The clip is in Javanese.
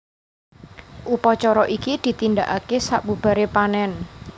Upacara iki ditindakake sabubaré panèn